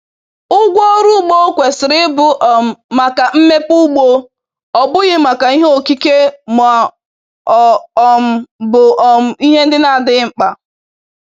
Ụgwọ ọrụ ugbo kwesịrị ịbụ um maka mmepe ugbo, ọ bụghị maka ihe okike ma ọ um bụ um ihe ndị na-adịghị mkpa